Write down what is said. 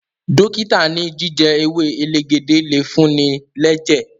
dókítà ní jíjẹ ewe elegede le fun-ni lẹjẹ